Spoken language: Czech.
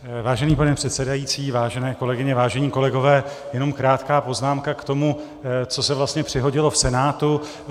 Vážený pane předsedající, vážené kolegyně, vážení kolegové, jenom krátká poznámka k tomu, co se vlastně přihodilo v Senátu.